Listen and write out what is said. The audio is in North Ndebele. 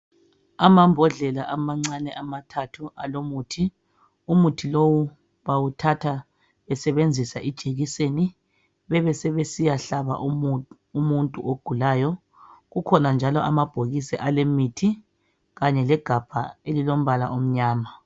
amambodlela amathathu amancane alomuthi umuthi lowu uwuthatha esebenzisa ijekiseni besebesiya hlaba umuntu ogulayo kukhona njalo amabhokisi alemithi kanye legabha elilombala omnayama